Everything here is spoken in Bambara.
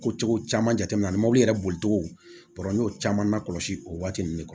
Ko cogo caman jate minɛ mobili yɛrɛ boli cogo n y'o caman lakɔlɔsi o waati ninnu kɔnɔ